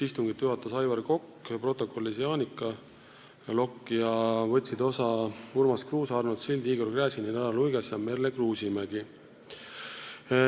Istungit juhatas Aivar Kokk ja protokollis Jaanika Lokk ning osa võtsid Urmas Kruuse, Arno Sild, Igor Gräzin, Inara Luigas ja Merle Kruusimägi.